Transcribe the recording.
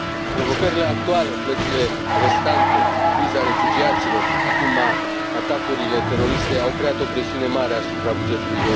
Provocările actuale plățile restante, criza refugiaților, acum atacurile teroriste au creat o presiune mare asupra bugetului